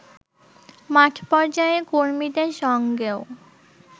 মাঠ পর্যায়ের কর্মীদের সঙ্গেও